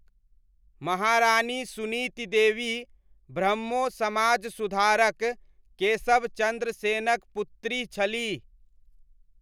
महारानी सुनीति देवी ब्रह्मो समाज सुधारक केशब चन्द्र सेनक पुत्री छलीह।